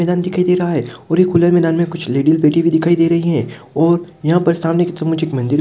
मैदान दिखाई दे रहा है और खुले मैदान में कुछ लेडिस बैठी दिखाई दे रही है और यहाँ पर सामने की तरफ मुझे एक मंदिर --